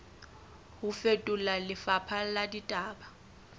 ho fetola lefapha la ditaba